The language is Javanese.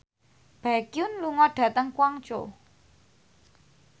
Baekhyun lunga dhateng Guangzhou